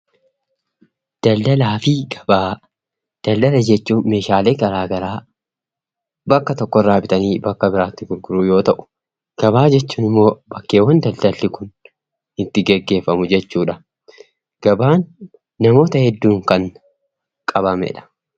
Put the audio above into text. Daldaalaa fi gabaa. Daldala jechuun meeshaalee garaa garaa bakka tokkoo bitanii bakka biraattii gurguruu yoo ta'u; gabaa jechuun immoo bakkeewwan daldalli kun itti gaggeeffamuu dha. Gabaan namoota hedduun kan qabamee dha.